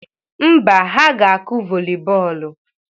Mba, ha ga-akụ vọli bọọlụ